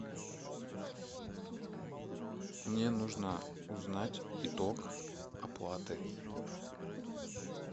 мне нужно узнать итог оплаты